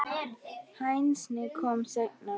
Hænsnin komu seinna.